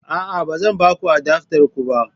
A'a, ba zan ba ku adaftar ku ba